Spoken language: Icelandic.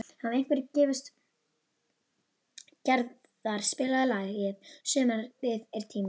Gerðar, spilaðu lagið „Sumarið er tíminn“.